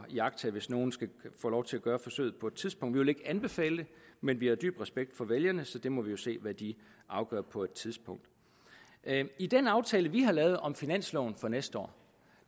iagttage hvis nogen får lov til at gøre forsøget på et tidspunkt vi vil ikke anbefale det men vi har dyb respekt for vælgerne så vi må jo se hvad de afgør på et tidspunkt i den aftale vi har lavet om finansloven for næste år